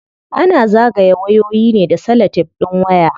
Ana zagaye wayoyi ne da salatef din waya.